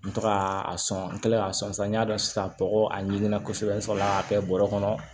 N tɔgɔ a sɔn n kɛlen k'a sɔn san n ɲa dɔn sisan tɔgɔ a ɲikina kosɛbɛ n sɔrɔ la k'a kɛ bɔrɛ kɔnɔ